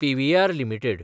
PVR limited